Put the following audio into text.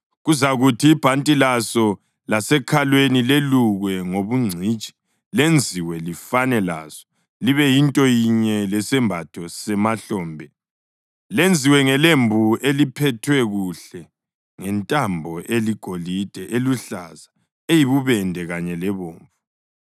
Kuzakuthi ibhanti laso lasekhalweni lelukwe ngobungcitshi lenziwe lifane laso, libe yinto yinye lesembatho semahlombe, lenziwe ngelembu eliphethwe kuhle ngentambo eligolide, eluhlaza, eyibubende kanye lebomvu.